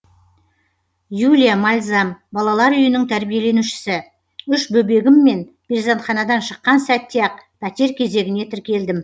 юлия мальзам балалар үйінің тәрбиеленушісі үш бөбегіммен перзентханадан шыққан сәтте ақ пәтер кезегіне тіркелдім